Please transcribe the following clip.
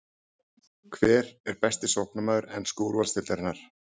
Hver er besti sóknarmaður ensku úrvalsdeildarinnar?